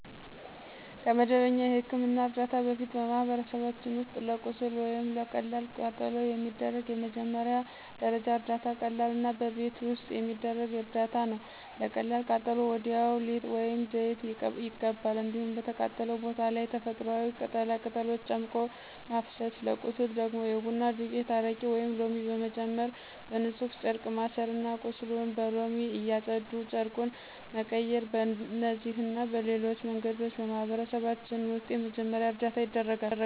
ከመደበኛ የሕክምና እርዳታ በፊት በማህበረሰባችን ውስጥ ለቁስል ወይም ለቀላል ቃጠሎ የሚደረግ የመጀመሪያ ደረጃ እርዳታ ቀላልና በቤት ውስጥ የሚደረግ እርዳታ ነው። ለቀላል ቃጠሎ ወዲያው ሊጥ ወይም ዘይት ይቀባል። እንዲሁም በተቃጠለው ቦታ ላይ ተፈጥሮአዊ ቅጠላ ቅጠሎችን ጨምቆ ማፍሰስ፤ ለቁስል ደግሞ የቡና ዱቄት፣ አረቄ ወይም ሎሚ በመጨመር በንፁህ ጨርቅ ማሠርና ቁስሉን በሎሚ እያፀዱ ጨርቁን መቀየር። በእነዚህና በሌሎች መንገዶች በማህበረሰባችን ውስጥ የመጀመሪያ እርዳታ ይደረጋል።